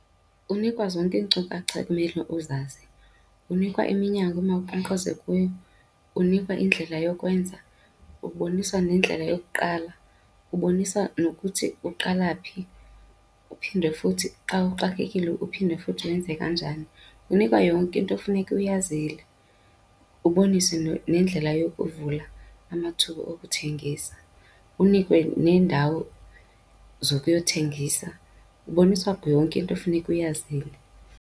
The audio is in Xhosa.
Unikwa zonke iinkcukacha ekumele uzazi, unikwa iminyango emawunkqonkqoze kuyo, unikwa indlela yokwenza, uboniswa nendlela yokuqala, uboniswa nokuthi uqala phi uphinde futhi xa uxakekile uphinde futhi wenze kanjani. Unikwa yonke into ofuneka uyazile, uboniswe nendlela yokuvula amathuba okuthengisa, unikwe neendawo zokuyothengisa. Uboniswa yonke into ofuneka uyazile.